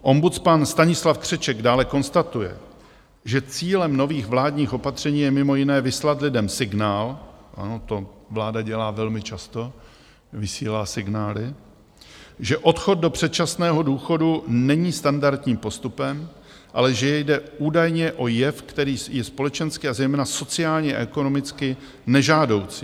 Ombudsman Stanislav Křeček dále konstatuje, že cílem nových vládních opatření je mimo jiné vyslat lidem signál - ano, to vláda dělá velmi často, vysílá signály - že odchod do předčasného důchodu není standardním postupem, ale že jde údajně o jev, který je společensky a zejména sociálně a ekonomicky nežádoucí.